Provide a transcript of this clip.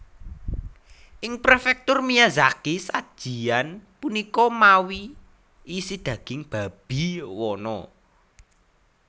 Ing Prefektur Miyazaki sajian punika mawi isi daging babi wana